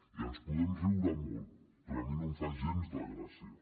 i ens en podem riure molt però a mi no em fa gens de gràcia